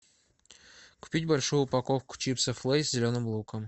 купить большую упаковку чипсов лейс с зеленым луком